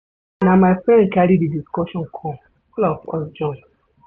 Na my friend carry di discussion come, all of us join.